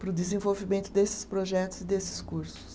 para o desenvolvimento desses projetos e desses cursos.